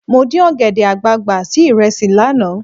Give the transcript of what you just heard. Mo dín ọ̀gẹ̀dẹ̀ àgbààgbà sí ìrẹsì lánàá.